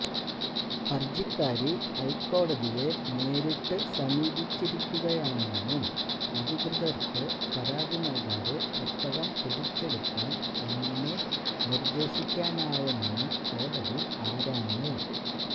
ഹർജിക്കാരി ഹൈക്കോടതിയെ നേരിട്ട് സമീപിച്ചിരിക്കുകയാണന്നും അധികൃതർക്ക് പരാതി നൽകാതെ പുസ്തകം പിടിച്ചെടുക്കാൻ എങ്ങനെ നിർദേശിക്കാനാവുമെന്നും കോടതി ആരാഞ്ഞു